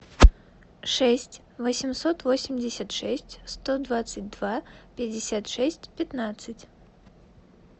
шесть восемьсот восемьдесят шесть сто двадцать два пятьдесят шесть пятнадцать